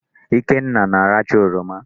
Ikenna na-arachaa oroma.